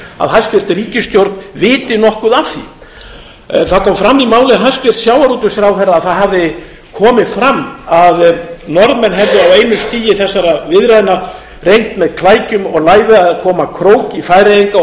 að hæstvirt ríkisstjórn viti nokkuð af því það kom fram í máli hæstvirts sjávarútvegsráðherra að það hafði komið fram að norðmenn hefðu á einu stigi þessara viðræðna reynt með klækjum og lævi að koma króki í færeyinga og